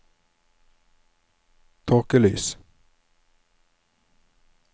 tåkelys